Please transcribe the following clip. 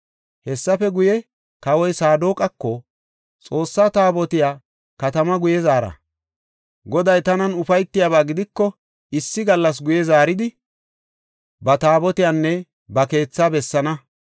Hessafe guye, kawoy Saadoqako, “Xoossa Taabotiya katama guye zaara. Goday tanan ufaytiyaba gidiko, issi gallas guye zaaridi ba Taabotiyanne ba keethaa bessaana.